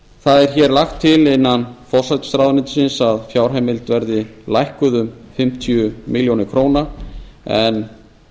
það er hér lagt til innan forsætisráðuneytisins að fjárheimild verði lækkuð um fimmtíu milljónir króna en